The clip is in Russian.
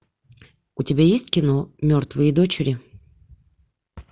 у тебя есть кино мертвые дочери